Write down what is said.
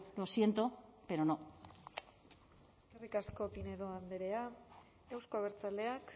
lo siento pero no eskerrik asko pinedo andrea euzko abertzaleak